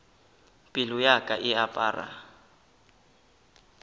pelo ya ka e apara